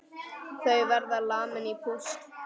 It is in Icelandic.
Þau verða lamin í púsl!